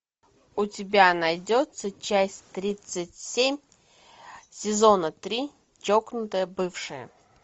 у тебя найдется часть тридцать семь сезона три чокнутая бывшая